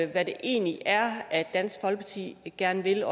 hvad det egentlig er dansk folkeparti gerne vil